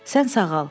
Sən sağal.